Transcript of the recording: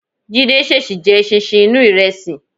Jídé ṣèṣì jẹ eṣinṣin inú ìrẹsì.